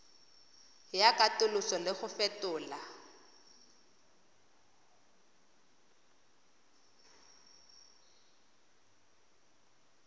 ya katoloso le go fetola